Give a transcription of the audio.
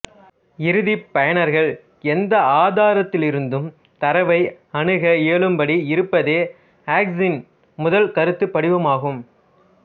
இறுதிப் பயனர்கள் எந்த ஆதாரத்திலிருந்தும் தரவை அணுக இயலும்படி இருப்பதே அக்சஸின் முதல் கருத்துப் படிவமாகும்